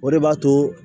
O de b'a to